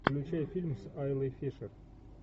включай фильм с айлой фишер